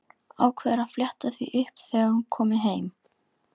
Ákveður að fletta því upp þegar hún komi heim.